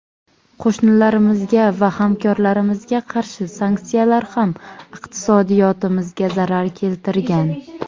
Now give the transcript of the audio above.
Qo‘shnilarimizga va hamkorlarimizga qarshi sanksiyalar ham iqtisodiyotimizga zarar keltirgan.